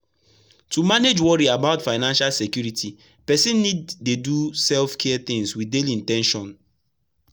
to manage worry about financial security person need dey do self-care things daily with in ten tion.